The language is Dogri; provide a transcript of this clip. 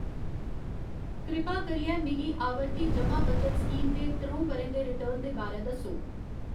कृपा करियै मिगी आवर्ती जमा बचत स्कीम दे त्र'ऊं ब'रें दे रिटर्न दे बारै दस्सो।